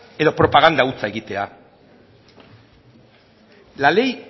ala propaganda hutsa egitea la ley